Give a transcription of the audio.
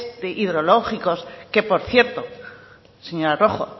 hidrológicos que por cierto señor rojo